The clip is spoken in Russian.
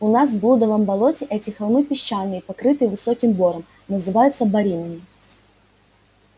у нас в блудовом болоте эти холмы песчаные покрытые высоким бором называются боринами